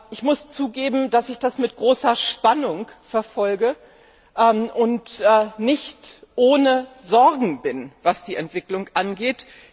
Ich muss zugeben, dass ich das mit großer Spannung verfolge und nicht ohne Sorgen bin, was die Entwicklung angeht.